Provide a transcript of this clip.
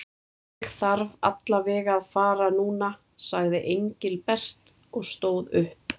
Ég þarf alla vega að fara núna sagði Engilbert og stóð upp.